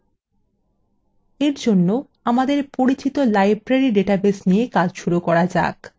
for জন্য আমাদের পরিচিত library ডাটাবেস নিয়ে কাজ শুরু করা যাক